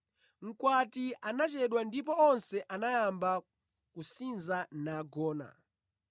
Mkwati anachedwa ndipo onse anayamba kusinza nagona.